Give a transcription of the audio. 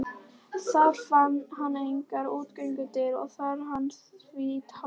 Þar fann hann engar útgöngudyr og dagar hans því taldir.